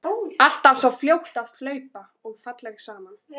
Alltaf svo fljót að hlaupa og falleg saman.